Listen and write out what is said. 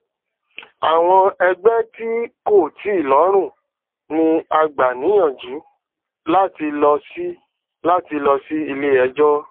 eyi yio jeki ọjà na ṣe ń ná kí àwọn um oludokowo um sì pò sí